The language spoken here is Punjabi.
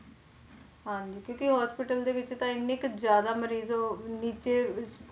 ਹਾਂਜੀ ਕਿਉਂਕਿ hospital ਦੇ ਵਿੱਚ ਤਾਂ ਇੰਨੇ ਕੁ ਜ਼ਿਆਦਾ ਮਰੀਜ਼ ਨੀਚੇ